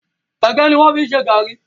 Ègé ni wọn fi ń ṣe gàárì